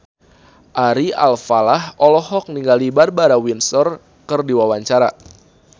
Ari Alfalah olohok ningali Barbara Windsor keur diwawancara